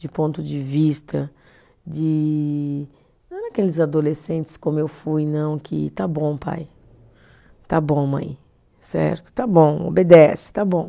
De ponto de vista de, não daqueles adolescentes como eu fui, não, que está bom pai, está bom mãe, certo, está bom, obedece, está bom.